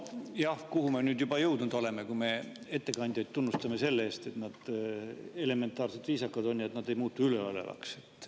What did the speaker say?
No jah, kuhu me nüüd juba jõudnud oleme, kui me tunnustame ettekandjaid selle eest, et nad on elementaarselt viisakad ega muutu üleolevaks.